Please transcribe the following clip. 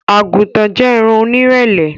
Agútàn jẹ́ ẹ̀ran ọnírẹlẹ̀